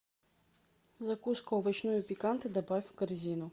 закуску овощную пиканта добавь в корзину